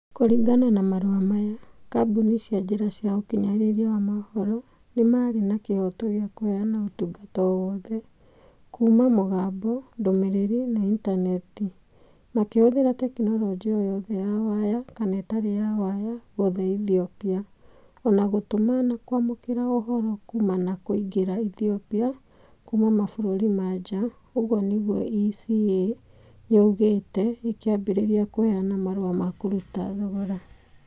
"Kũringana na marũa maya, kambuni cia njĩra cia ũkinyanĩria wa mohoro nĩ marĩ na kĩhooto gĩa kũheana ũtungata o wothe. Kuuma mugambo, ndũmĩrĩri, na intaneti. Makĩhũthĩra tekinoronjĩ o yothe ya waya kana ĩtarĩ ya waya, guothe Ethiopia. O na gũtũma na kwamũkĩra ũhoro kuuma na kũingĩra Ethiopia kuuma mabũrũri ma njaa . ũguo nĩguo ECA yugĩte ĩkĩambĩrĩria kũheana marũa ma kũruta thogora.